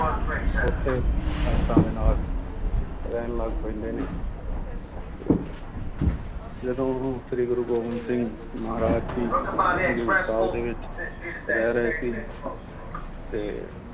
ਉੱਥੇ ਸੰਗਤਾਂ ਦੇ ਨਾਲ ਰਹਿਣ ਲੱਗ ਪੈਂਦੇ ਨੇ ਤੇ ਜਦੋਂ ਗੁਰੂ ਸ੍ਰੀ ਗੁਰੂ ਗੋਬਿੰਦ ਸਿੰਘ ਮਹਾਰਾਜ ਜੀ ਹਜ਼ੂਰ ਸਾਹਿਬ ਦੇ ਵਿੱਚ ਰਹਿ ਰਹੇ ਸੀ ਤੇ